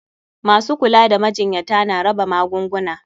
Masu kula da majinyata na raba magunguna.